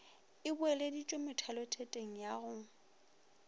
e boeleditšwe methalothetong ya go